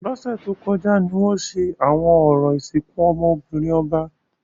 Lọsẹ to kọja ni wọn ṣe awọn orȯ isinku ọmọ-binrin ọba.